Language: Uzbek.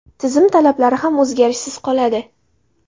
Tizim talablari ham o‘zgarishsiz qoladi.